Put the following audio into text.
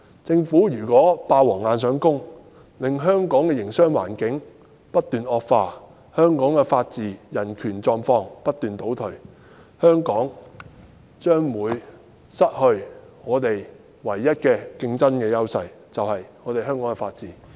政府如果"霸王硬上弓"，令香港的營商環境不斷惡化，香港的法治和人權狀況不斷倒退，香港便將會失去我們唯一的競爭優勢——就是香港的法治。